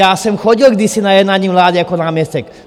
Já jsem chodil kdysi na jednání vlády jako náměstek.